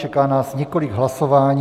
Čeká nás několik hlasování.